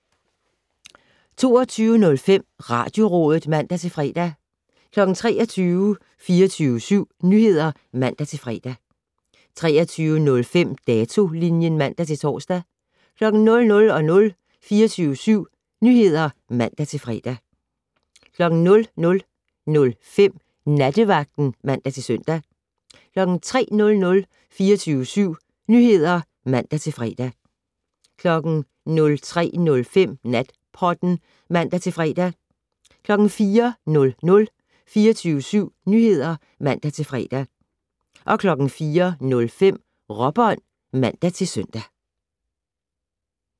22:05: Radiorådet (man-fre) 23:00: 24syv Nyheder (man-fre) 23:05: Datolinjen (man-tor) 00:00: 24syv Nyheder (man-fre) 00:05: Nattevagten (man-søn) 03:00: 24syv Nyheder (man-fre) 03:05: Natpodden (man-fre) 04:00: 24syv Nyheder (man-fre) 04:05: Råbånd (man-søn)